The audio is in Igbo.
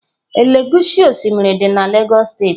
Elegushi osimiri dị na Lagos steeti.